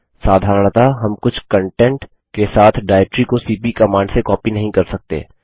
साधारणतः हम कुछ कन्टेंट के साथ डाइरेक्टरी को सीपी कमांड से कॉपी नहीं कर सकते